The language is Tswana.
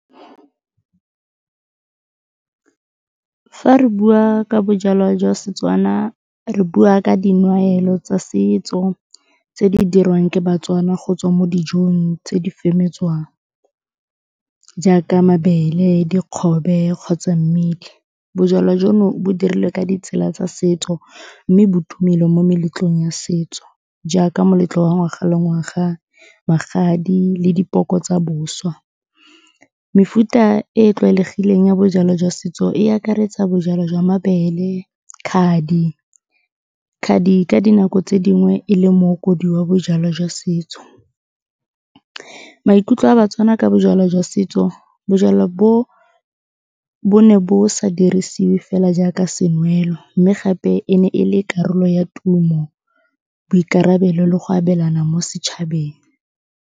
Fa re bua ka bojalwa jwa Setswana, re bua ka tsa setso tse di dirwang ke baTswana go tswa mo dijong tse di jaaka mabele, dikgobe kgotsa . Bojalwa jono bo dirilwe ka ditsela tsa setso mme bo tumile mo meletlong ya setso jaaka moletlo wa ngwaga le ngwaga, magadi le dipoko tsa boswa. Mefuta e e tlwaelegileng ya bojalwa jwa setso e akaretsa bojalwa jwa mabele, khadi. Khadi ka dinako tse dingwe e le mookodi wa bojalwa jwa setso. Maikutlo a baTswana ka bojalwa jwa setso, bojalwa bo, bo ne bo sa dirisiwe fela jaaka senwelo mme gape e ne e le karolo ya tumo, boikarabelo le go abelana mo setšhabeng.